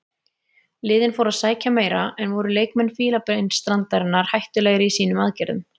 Liðin fóru að sækja meira en voru leikmenn Fílabeinsstrandarinnar hættulegri í sínum aðgerðum.